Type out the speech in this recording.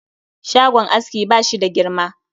Shagon askin bashi da girma